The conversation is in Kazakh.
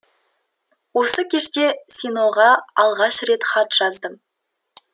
осы кеште синоға алғаш рет хат жаздым